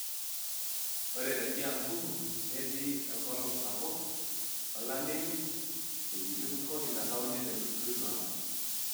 Ore te kiambu, netii enkolong sapuk olameyu wuejitin kumok ina kaunti te nusu ilo apa.